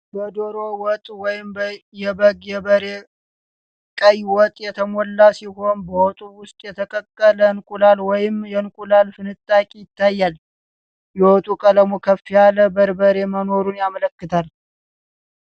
በዶሮ ወጥ ወይም የበግ/የበሬ ቀይ ወጥ የተሞሉ ሲሆን፣ በወጡ ውስጥ የተቀቀለ እንቁላል ወይም የእንቁላል ፍንጣቂ ይታያል። የወጡ ቀለሙ ከፍ ያለ በርበሬ መኖሩን ያመለክታል።